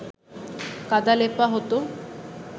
কাদা লেপা হতো